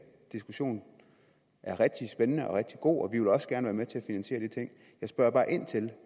diskussion er rigtig spændende og rigtig god og vi vil også gerne være med til at finansiere de ting jeg spørger bare ind til